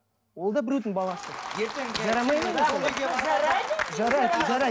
ол да біреудің баласы жарамайды ма не сонда